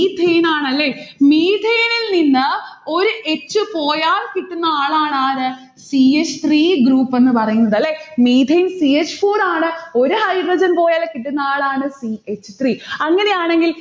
methane ആണല്ലേ methane ഇൽ നിന്ന് ഒരു h പോയാൽ കിട്ടുന്നയാളാണ് ആര് c h three group എന്ന് പറയുന്നത്. അല്ലെ methane c h four ആണ് ഒരു hydrogen പോയാൽ കിട്ടുന്നയാളാണ് c h three അങ്ങനെയാണെങ്കിൽ